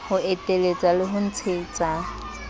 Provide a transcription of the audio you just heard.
ho eteletsa le ho ntshetsa